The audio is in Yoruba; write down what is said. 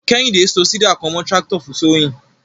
Kehinde so seeder kan mọ tractor fun sowing.